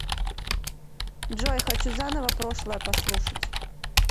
джой хочу заново прошлое послушать